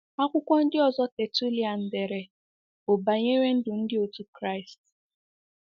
Akwụkwọ ndị ọzọ Tertullian dere bụ banyere ndụ ndi otu Kraịst.